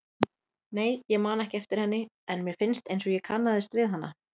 Nei, ég man ekki eftir henni en mér fannst einsog ég kannaðist við hana.